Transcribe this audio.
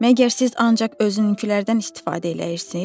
Məgər siz ancaq özününkülərdən istifadə eləyirsiz?